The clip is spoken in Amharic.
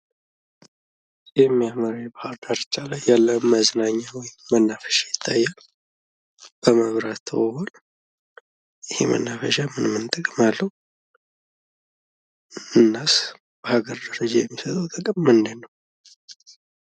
የሚያምር ከባህር ዳርቻ ላይ ያለ መዝናኛ ወይም መናፈሻ ይታያል። በመብራት ተውቧል። ይህ መናፈሻ ምን ምን ጥቅም አለው? እናስ በሀገር ደረጃ የሚሰጠው ጥቅም ምንድን ነው?